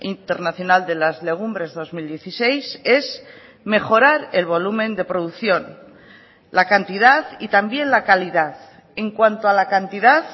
internacional de las legumbres dos mil dieciséis es mejorar el volumen de producción la cantidad y también la calidad en cuanto a la cantidad